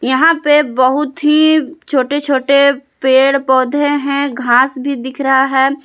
यहां पे बहुत ही छोटे छोटे पेड़ पौधे हैं घास भी दिख रहा है।